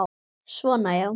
Svona já.